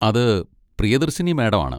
അത് പ്രിയദർശിനി മാഡം ആണ്.